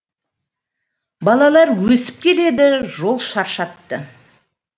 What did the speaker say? балалар өсіп келеді жол шаршатты